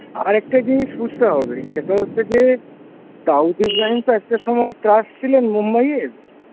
আরেকটা জিনিস বুঝতে হবে সেটা হচ্ছে যে দাউদ ইব্রাহিম তো একটা সময় ত্রাস ছিল মুম্বাইয়ের,